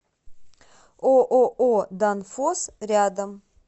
ооо данфосс рядом